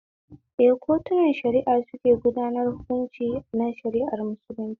Eh, kotunan shari'a suke gudanar hunkunci na shara'ar musulunci